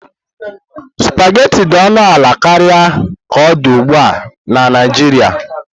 Supagetii dị ọnụ ala karịa ka ọ dị ugbu a na Naijiria.